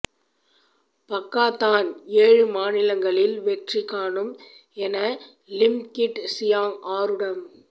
Pakatan ஏழு மாநிலங்களில் வெற்றி காணும் என லிம் கிட் சியாங் ஆரூடம்